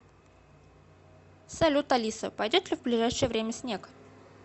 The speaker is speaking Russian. салют алиса пойдет ли в ближайшее время снег